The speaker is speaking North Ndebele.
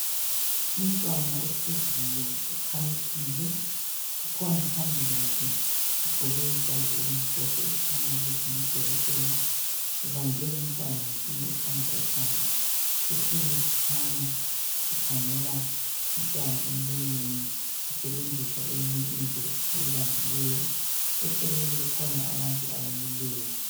umntwana ohleziyo ukhamisile kukhona phambi kwakhe ogqoke ijazi elimhlophe okukhanya ukuthi ngudokotela ebambe umntwana ngesinye isandla ekhanda esinye sikhanya sikhangela umntwana emlonyeni esebenzisa eyinye into oyibambileyo eceleni kukhona abantu abamileyo